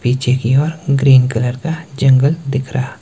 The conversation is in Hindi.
पीछे की ओर ग्रीन कलर का जंगल दिख रहा।